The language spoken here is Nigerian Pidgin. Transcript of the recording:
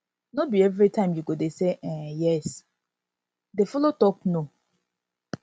no be evritime yu go dey say um yes dey um yes dey follow tok no